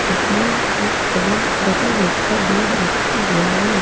जिसमें एक बहुत डबल बेड का बेड रखा हुआ है।